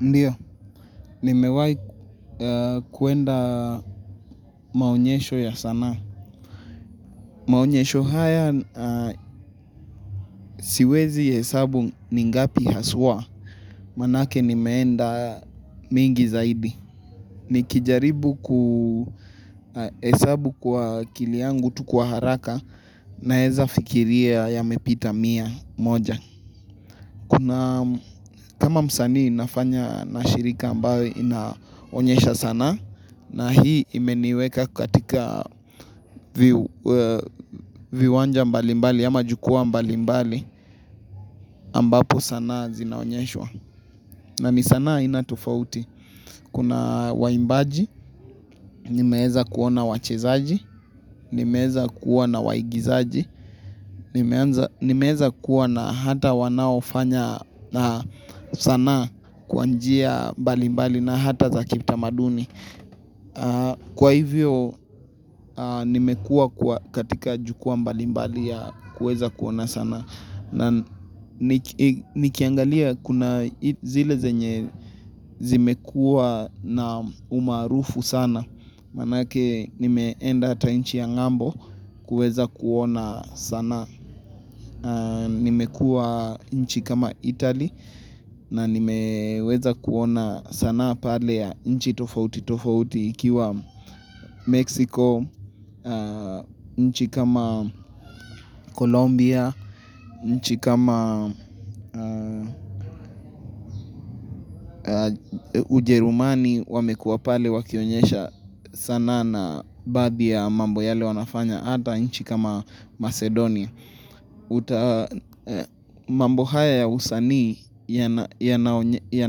Ndiyo, nimewai kuenda maonyesho ya sanaa. Maonyesho haya siwezi hesabu ni ngapi haswa, maanake nimeenda mengi zaidi. Nikijaribu kuhesabu kwa akili yangu tu kwa haraka naweza fikiria yamepita mia moja. Kuna kama msanii ninafanya na shirika ambalo linaonyesha sanaa na hii imeniweka katika viwanja mbalimbali ama jukwaa mbalimbali ambapo sanaa zinaonyeshwa. Na ni sanaa aina tofauti. Kuna waimbaji, nimeeza kuona wachezaji, nimeeza kuwa na waigizaji, nimeeza kuwa na hata wanao fanya sanaa kwa njia balimbali na hata za kitamaduni. Kwa hivyo nimekuwa katika jukwaa mbalimbali ya kuweza kuona sanaa. Na nikiangalia kuna zile zenye zimekuwa na umaarufu sana Maanake nimeenda hata nchi ya ngambo kuweza kuona sanaa. Nimekuwa nchi kama Italy na nimeweza kuona sanaa pale ya nchi tofauti tofauti ikiwa Mexico, nchi kama Colombia, nchi kama Ujerumani wamekuwa pale wakionyesha sanaa na baadhi ya mambo yale wanafanya hata nchi kama Macedonia. Mambo haya ya usanii ya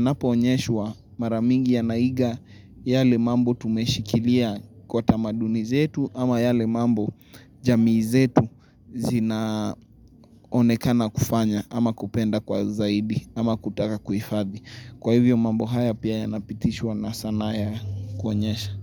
napoonyeshwa mara nyingi yanaiga yale mambo tumeshikilia kwa tamaduni zetu ama yale mambo jamii zetu zinaonekana kufanya ama kupenda kwa zaidi ama kutaka kuhifadhi. Kwa hivyo mambo haya pia yanapitishwa na sanaa ya kuonyesha.